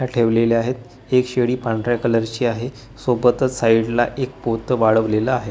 त्या ठेवलेल्या आहेत एक शेळी पांढऱ्या कलरची आहे सोबतच साईडला एक पोतं वाळवलेलं आहे.